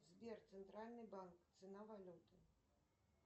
сбер центральный банк цена валюты